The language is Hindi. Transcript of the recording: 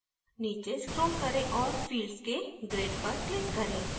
नीचे scroll करें और fields के grid पर क्लिक करें